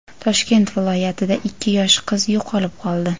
Toshkent viloyatida ikki yosh qiz yo‘qolib qoldi.